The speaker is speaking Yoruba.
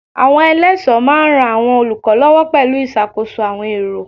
Àwọn eléso máa ran àwọn olùkọ́ lọ́wọ́ pẹ̀lú ìṣàkóso àwọn èrò.